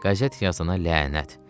Qəzet yazana lənət.